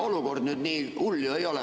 No olukord ju nii hull ei ole.